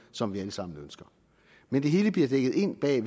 som vi alle sammen ønsker men det hele bliver dækket ind bag